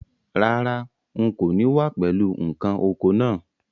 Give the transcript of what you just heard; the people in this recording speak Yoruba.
Rárá, n kò ní wá pẹ̀lú ǹkan oko naa